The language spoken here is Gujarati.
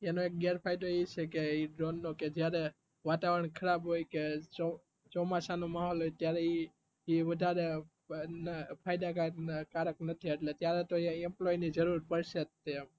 તેનો એક ગેર ફાયદો એ છે કે ડ્રોન નો કે જયારે વાતાવરણ જયારે ખરાબ હોય કે ચોમાસા નો માહોલ હોય ત્યારે એ વધારે ફાયદા કારક નથી એટલે ત્યારેતો તો employee ની જરુરુ પડશે જ તે